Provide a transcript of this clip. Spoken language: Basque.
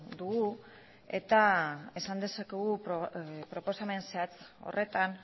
dugu eta esan dezakegu proposamen zehatz horretan